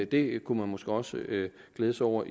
det kunne man måske også glæde sig over